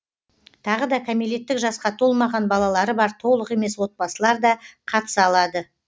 тағы да кәмелеттік жасқа толмаған балалары бар толық емес отбасылар да қатыса алады